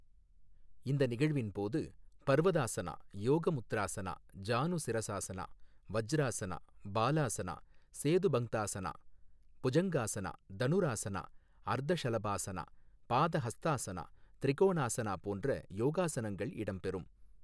இந்த நிகழ்வின் போது, பர்வதாசனா, யோகமுத்ராசனா, ஜானுசிராசனா, வஜ்ராசனா, பாலாசனா, சேதுபங்தாசனா, புஜங்காசனா, தனுராசனா, அர்தஷலபாசனா, பாதஹஸ்தாசனா, திரிகோணாசனா போன்ற யோகாசனங்கள் இடம்பெறும்.